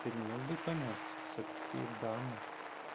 ты не мог бы помягче всё-таки дама